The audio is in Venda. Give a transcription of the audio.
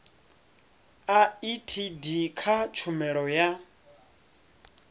a etd kha tshumelo ya